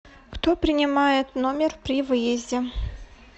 кто принимает номер при выезде